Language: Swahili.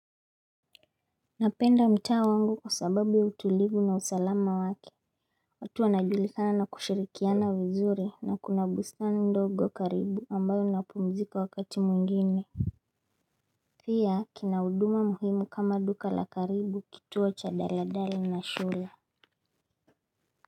Napenda mtaa wangu kwa sababu ya utulivu na usalama wake. Watu wanajulikana na kushirikiana vizuri na kuna bustani ndogo karibu ambayo napumzika wakati mwingine pia kina uduma muhimu kama duka la karibu kituo cha daladala na shule.